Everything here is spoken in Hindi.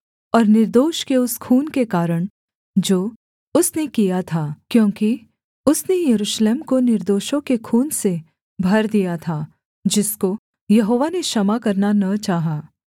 और निर्दोष के उस खून के कारण जो उसने किया था क्योंकि उसने यरूशलेम को निर्दोषों के खून से भर दिया था जिसको यहोवा ने क्षमा करना न चाहा